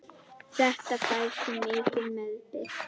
Þetta fær því mikinn meðbyr.